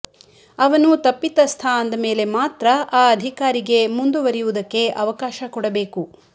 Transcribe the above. ಅವನು ತಪ್ಪಿತಸ್ಥ ಅಂದಮೇಲೆ ಮಾತ್ರ ಆ ಅಧಿಕಾರಿಗೆ ಮುಂದುವರಿಯುವುದಕ್ಕೆ ಅವಕಾಶ ಕೊಡಬೇಕು